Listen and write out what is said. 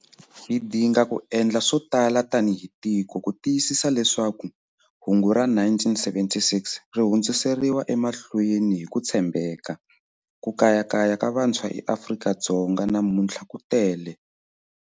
Hi dinga ku endla swo tala tanihi tiko ku tiyisisa leswaku hungu ra 1976 ri hundziseriwa emahlweni hi ku tshembeka. Ku kayakaya ka vantshwa eAfrika-Dzonga namuntlha ku tele.